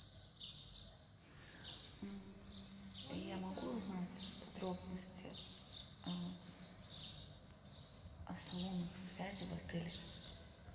я могу узнать подробности о салонах связи в отеле